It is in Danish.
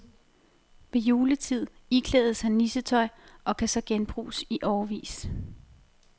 Ved juletid iklædes han nissetøj og kan så genbruges i årevis.